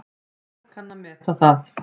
Fólk kann að meta það.